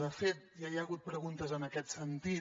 de fet ja hi ha hagut preguntes en aquest sentit